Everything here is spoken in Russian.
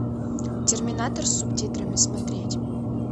терминатор с субтитрами смотреть